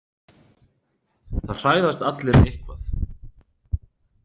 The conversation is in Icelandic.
Það hræðast allir eitthvað